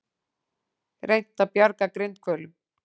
Reynt að bjarga grindhvölum